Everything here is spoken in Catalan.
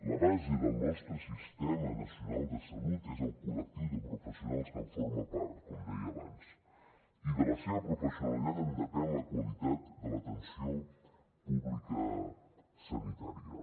la base del nostre sistema nacional de salut és el col·lectiu de professionals que en forma part com deia abans i de la seva professionalitat en depèn la qualitat de l’atenció pública sanitària